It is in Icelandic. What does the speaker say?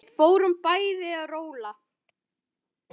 Við fórum bæði að róla.